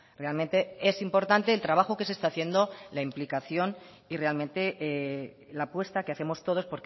realmente es importante el trabajo que se está haciendo la implicación y realmente la apuesta que hacemos todos